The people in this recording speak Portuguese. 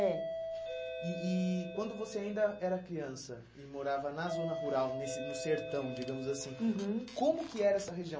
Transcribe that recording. É. E e quando você ainda era criança e morava na zona rural, nesse no sertão, digamos assim, uhum, como que era essa região?